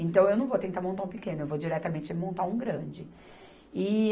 Então, eu não vou tentar montar um pequeno, eu vou diretamente montar um grande. E